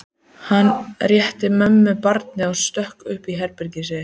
Hann rétti mömmu barnið og stökk upp í herbergið sitt.